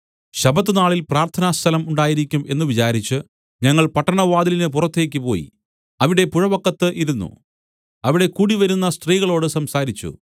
ശബ്ബത്തുനാളിൽ പ്രാർത്ഥനാസ്ഥലം ഉണ്ടായിരിക്കും എന്ന് വിചാരിച്ചു ഞങ്ങൾ പട്ടണവാതിലിന് പുറത്തേക്ക് പോയി അവിടെ പുഴവക്കത്ത് ഇരുന്നു അവിടെ കൂടിവന്ന സ്ത്രീകളോട് സംസാരിച്ചു